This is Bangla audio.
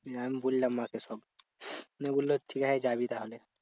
আমি বললাম মা কে সব। নিয়ে বললো ঠিক আছে যাবি তাহলে।